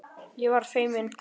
Ég verð feimin.